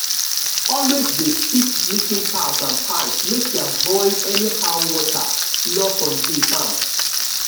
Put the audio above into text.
always dey fix leaking taps and pipes make e avoid anyhow water loss on dey farm.